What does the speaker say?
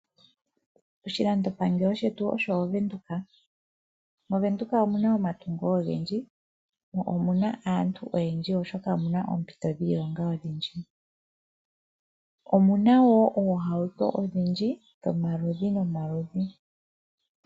Oshilandopangelo shetu osho Ovenduka. MOvenduka omu na omatungo ogendji mo omu na aantu oyendji, oshoka omu na oompito dhiilonga odhindji. Omu na wo oohauto odhindji dhomaludhi nomaludhi.